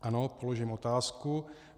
Ano, položím otázku.